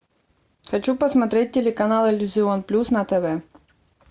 хочу посмотреть телеканал иллюзион плюс на тв